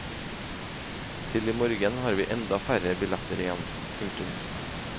Til i morgen har vi enda færre billetter igjen. punktum